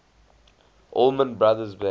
allman brothers band